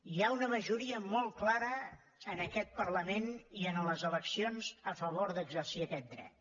hi ha una majoria molt clara en aquest parlament i en les eleccions a favor d’exercir aquest dret